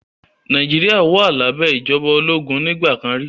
Nàìjíríà wà lábẹ́ ìjọba ológun nígbà kan rí